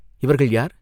இவர்கள் யார்?